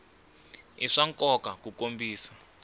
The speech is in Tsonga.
i swa nkoka ku kombisa